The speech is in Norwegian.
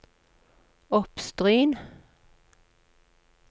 Oppstryn